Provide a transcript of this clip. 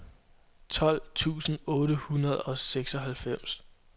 tolv tusind otte hundrede og seksoghalvfems